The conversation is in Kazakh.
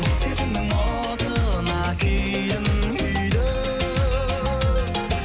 сезімнің отына күйдім күйдім